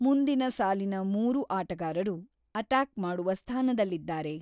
ಮುಂದಿನ ಸಾಲಿನ ಮೂರೂ ಆಟಗಾರರು ಅಟ್ಯಾಕ್‌ ಮಾಡುವ ಸ್ಥಾನದಲ್ಲಿದ್ದಾರೆ.